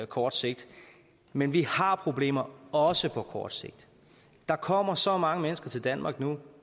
kort sigt men vi har problemer også på kort sigt der kommer så mange mennesker til danmark nu